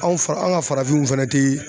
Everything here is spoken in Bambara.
Anw fa an ka farafinw fɛnɛ tɛ